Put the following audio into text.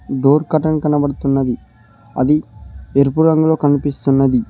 Door curtain కనబడతున్నది అది ఎరుపు రంగులో కనిపిస్తున్నది.